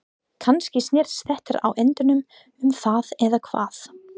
Kannski snýst þetta á endanum um það eða hvað?